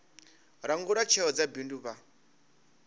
langula tsheo dza bindu vha